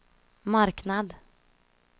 marknad